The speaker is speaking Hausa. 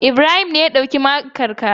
Ibrahim ne ya ɗauki makar ka.